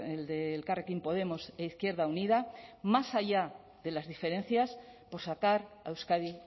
el de elkarrekin podemos e izquierda unida más allá de las diferencias por sacar a euskadi